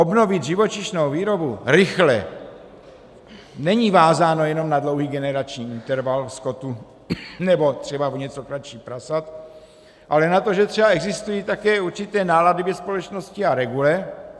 Obnovit živočišnou výrobu rychle není vázáno jenom na dlouhý generační interval skotu nebo třeba o něco kratší prasat, ale na to, že třeba existují také určité nálady ve společnosti a regule.